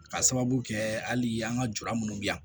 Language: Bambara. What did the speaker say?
Ka sababu kɛ hali an ka jura minnu bɛ yan